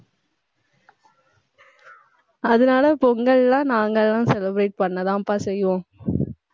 அதனால பொங்கல்ன்னா நாங்க எல்லாம் celebrate பண்ணதான்பா செய்வோம்.